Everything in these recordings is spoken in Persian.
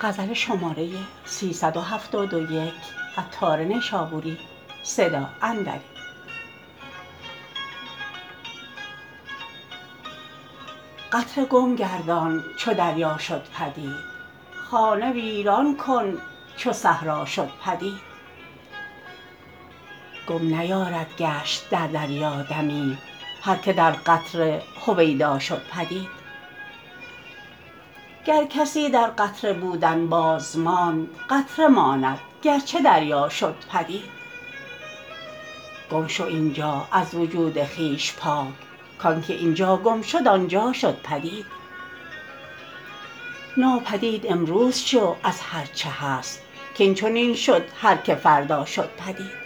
قطره گم گردان چو دریا شد پدید خانه ویران کن چو صحرا شد پدید گم نیارد گشت در دریا دمی هر که در قطره هویدا شد پدید گر کسی در قطره بودن بازماند قطره ماند گرچه دریا شد پدید گم شو اینجا از وجود خویش پاک کان که اینجا گم شد آنجا شد پدید ناپدید امروز شو از هرچه هست کین چنین شد هر که فردا شد پدید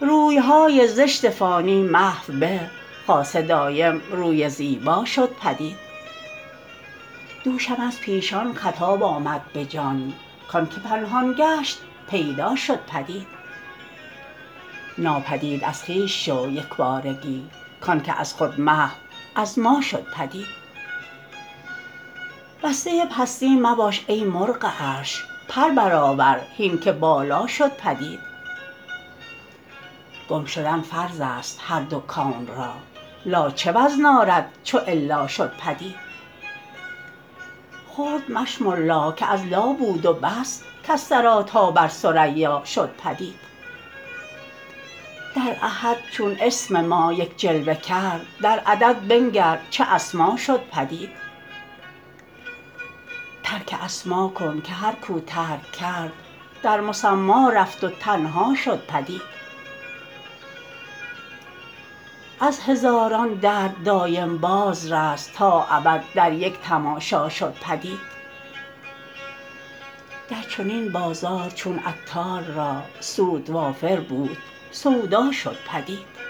روی های زشت فانی محو به خاصه دایم روی زیبا شد پدید دوشم از پیشان خطاب آمد به جان کان که پنهان گشت پیدا شد پدید ناپدید از خویش شو یکبارگی کان که از خود محو از ما شد پدید بسته پستی مباش ای مرغ عرش پر برآور هین که بالا شد پدید گم شدن فرض است هر دو کون را لا چه وزن آرد چو الا شد پدید خرد مشمر لا که از لا بود و بس کز ثری تا بر ثریا شد پدید در احد چون اسم ما یک جلوه کرد در عدد بنگر چه اسما شد پدید ترک اسما کن که هر کو ترک کرد در مسما رفت و تنها شد پدید از هزاران درد دایم باز رست تا ابد در یک تماشا شد پدید در چنین بازار چون عطار را سود وافر بود سودا شد پدید